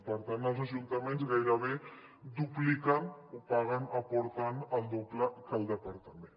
per tant els ajuntaments gairebé dupliquen o paguen aporten el doble que el departament